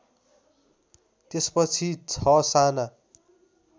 त्यसपछि ६ साना